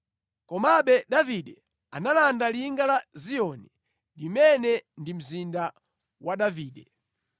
Komabe Davide analanda linga la Ziyoni, limene ndi mzinda wa Davide.